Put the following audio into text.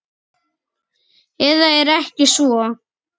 Eða er ekki svo?